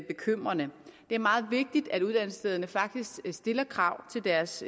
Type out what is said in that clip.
bekymrende det er meget vigtigt at uddannelsesstederne faktisk stiller krav til deres